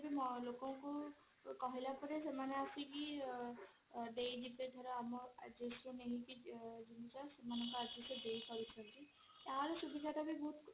ଲୋକଙ୍କୁ କହିଲା ପରେ ସେମାନେ ଆସିକି ଦେଇଯିବେ ଧର ଆମ locationରୁ ନେଇକି ତାର ସୁବିଧା ଟା ବି ବହୁତ